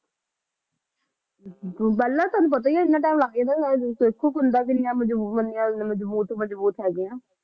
ਪਹਿਲਾਂ ਤੁਹਾਨੂੰ ਪਤਾ ਹੀ ਹੈ ਇੰਨਾ time ਲੱਗ ਜਾਂਦਾ ਸੀ ਕੰਧਾਂ ਕਿੰਨੀਆਂ ਮਜ਼ਬੂਤ ਬਣੀਆਂ ਮਤਲਬ ਮਜ਼ਬੂਤ ਮਜ਼ਬੂਤ ਹੈਗੀਆਂ